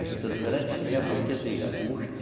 A juta do verão, a gente semeia a partir de agosto.